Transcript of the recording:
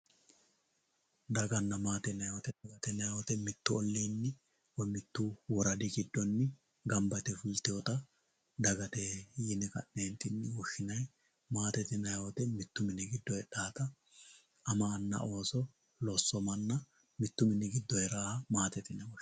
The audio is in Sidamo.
Daganna maatte yinanni woyite mitu olinni woyi mitu woradi gidonni gamba yite fulitewotta dagate yine ka'ne'ntinni woshinayi, maattette yinayita mitu mini gido heedhawotta ama anna loso mana mitu mini gido heerawoha maattette yine woshinayi